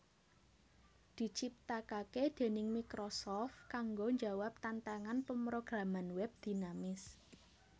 diciptakake déning Microsoft kanggo njawab tantangan pemrograman web dinamis